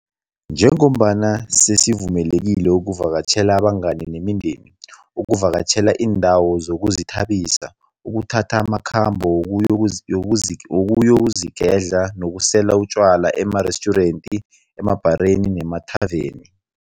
Njengombana sesivumelekile ukuvakatjhela abangani nemindeni, ukuvakatjhela iindawo zokuzithabisa, ukuthatha amakhambo wokuyozigedla nokusela utjwala emarestjurenti, emabhareni nemathaveni.